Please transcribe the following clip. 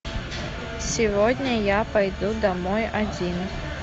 сегодня я пойду домой один